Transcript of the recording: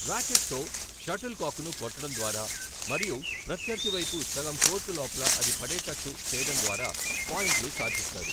ర్యాకెట్తో shuttle కాక్ను కొట్టడం ద్వారా మరియు ప్రత్యర్థి వైపు సగం కోర్టు లోపల అది పడేటట్టు చేయడం ద్వారా పాయింట్లు సాధిస్తారు.